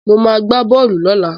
Mo ma gbá bọ́ọ̀lù lọ́la